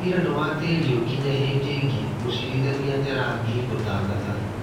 Cira nĩwatĩrio nginya hĩndĩ ĩngĩ," Mũcirithania Nyarangi gũtangatha